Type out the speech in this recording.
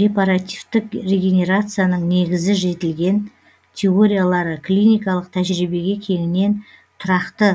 репаративтік регенерацияның негізгі жетілген теориялары клиникалық тәжірибеге кеңінен тұрақты